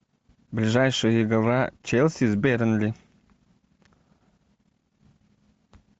ближайшая игра челси с бернли